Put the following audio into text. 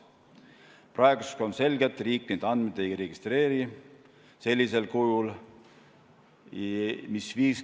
Praeguseks on selge, et riik neid andmeid sellisel kujul ei registreeri.